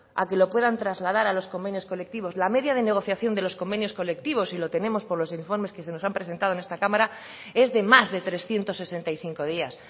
a que lo puedan trasladar a los convenios colectivos la media de negociación de los convenios colectivos y lo tenemos por los informes que se nos han presentado en esta cámara es de más de trescientos sesenta y cinco días